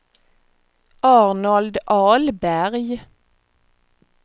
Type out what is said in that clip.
Arnold Ahlberg